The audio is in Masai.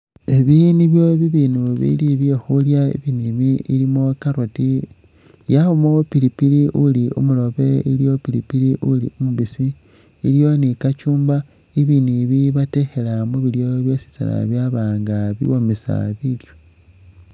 Ebi nibyo bi bindu bili bye khulya, ibindu ibi bilimo carrot, yabamo pilipili uli umurobe, iliwo pilipili uli umubisi iliwo ni cucumber, ibindu ibi babitekhela mu bilyo byositsana byaba nga biwomesa bilyo